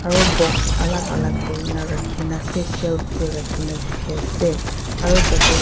Aro box alak alak kurina rakhina ase shelves tey rakhina dekhi ase aro tate--